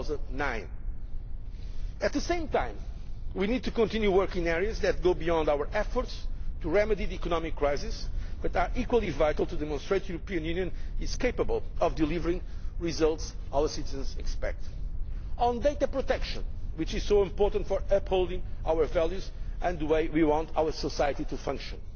in 2009. At the same time, we need to continue working in areas that go beyond our efforts to remedy the economic crisis but are equally vital to demonstrate that the European Union is capable of delivering the results our citizens expect on data protection, which is so important for upholding our values and the way we want our society to function